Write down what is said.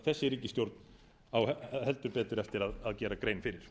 þessi ríkisstjórn á heldur betur eftir að gera grein fyrir